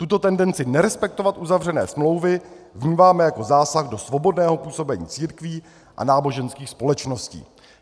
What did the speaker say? Tuto tendenci nerespektovat uzavřené smlouvy vnímáme jako zásah do svobodného působení církví a náboženských společností."